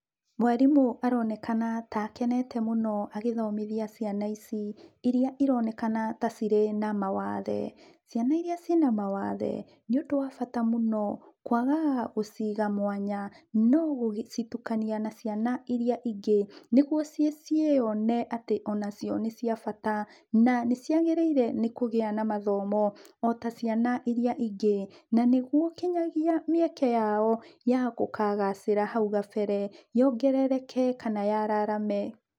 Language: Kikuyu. Mwarimũ aronekana ta akenete mũno agĩthomithia ciana ici, iria ironekana ta cirĩ na mawathe. ciana iria ciĩna mawathe, nĩ ũndũ wa bata mũno kwagaga gũciga mwanya, no gũcitukania na ciana iria ingĩ, nĩguo ciĩyone atĩ onacio nĩcia bata, na nĩ ciagĩrĩire nĩ kũgĩa na mathomo, ota ciana iria ingĩ. Na nĩguo nginyagia mĩeke yao ya gũkagacĩra hau gabere, yongerereke kana yararame.